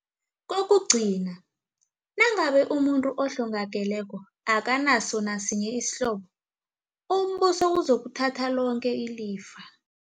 Kokugcina, nangabe umuntu ohlongakeleko akanaso nasinye isihlobo, umBuso uzokuthatha loke ilifa.